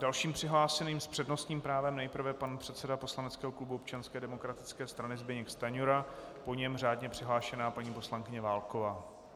Dalším přihlášeným s přednostním právem nejprve pan předseda poslaneckého klubu Občanské demokratické strany Zbyněk Stanjura, po něm řádně přihlášená paní poslankyně Válková.